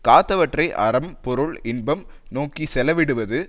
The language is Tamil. காத்தவற்றை அறம் பொருள் இன்பம் நோக்கி செலவிடுவது